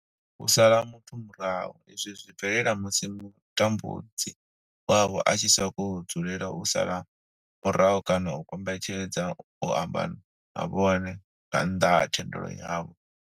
U sala muthu murahu, izwi zwi bvelela musi mutambudzi wavho a tshi sokou dzulela u vha sala murahu kana a kombetshedza u amba na vhone nga nnḓa ha thendelo yavho.